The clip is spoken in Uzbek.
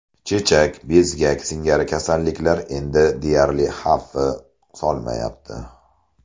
Chechak, bezgak singari kasalliklar endi deyarli xavfi solmayapti.